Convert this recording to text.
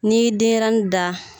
N'i ye denɲɛrɛnin da